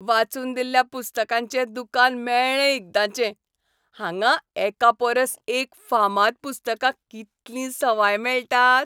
वाचून दिल्ल्या पुस्तकांचें दुकान मेळ्ळें एकदाचें. हांगां एकापरस एक फामाद पुस्तकां कितलीं सवाय मेळटात!